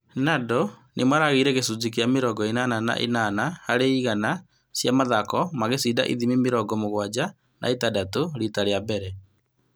Nadal nĩmaragĩire gĩcunjĩ kĩa mĩrongo ĩnana na ĩnana harĩ igana ithiminĩ cia mathako magĩcinda ithimi mirongo mũgwanja na ĩtandatũ rita rĩa mbere